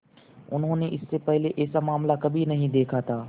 उन्होंने इससे पहले ऐसा मामला कभी नहीं देखा था